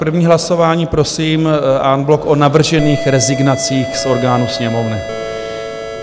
První hlasování, prosím, en bloc o navržených rezignacích z orgánů sněmovny.